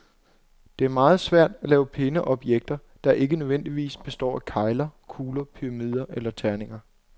Det er meget svært at lave pæne objekter, der ikke nødvendigvis består af kegler, kugler, pyramider eller terninger.